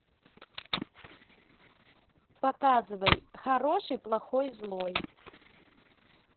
показывай хороший плохой злой